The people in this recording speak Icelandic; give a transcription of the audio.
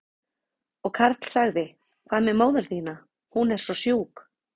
Og Karl sagði, hvað með móður þína, hún er svo sjúk?